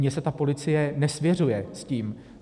Mně se ta policie nesvěřuje s tím.